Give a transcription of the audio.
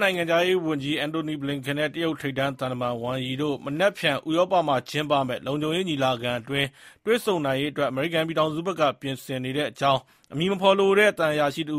နိုင်ငံခြားရေးဝန်ကြီးအဆင့်တွေ့နိုင်ဖို့ ကန်စီစဉ်နေ အမေရိကန်နိုင်ငံခြားရေးဝန်ကြီး Antony Blinken နဲ့ တရုတ် ထိပ်တန်းသံတမန် Wang Yi တို့ မနက်ဖြန် ဥရောပမှာ ကျင်းပမယ့် လုံခြုံရေး ညီလာခံအတွင်း တွေ့ဆုံနိုင်ရေး အမေရိကန်ပြည်ထောင်စုဘက်က ပြင်ဆင်နေတဲ့အကြောင်း အမည်မဖော်လိုတဲ့ သံအရာရှိတဦ